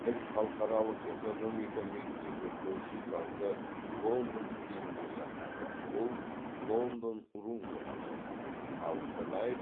біз халықаралық экономика мектебі көрші залды лондон стилінде жасадық ол лондон рум деп аталады ал қонаев